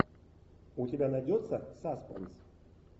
у тебя найдется саспенс